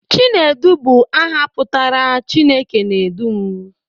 Chinedu bụ aha pụtara 'Chineke na-edu m'